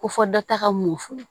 Ko fɔ dɔ taga mun fɔ